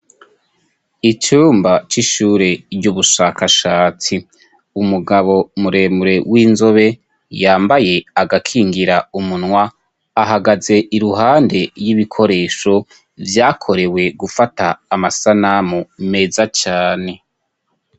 Icumba c'ishure ry'ubushakashatsi; umugabo muremure w'inzobe yambaye agakingira umunwa ahagaze iruhande y'ibikoresho vyakorewe gufata amasanamu meza cane.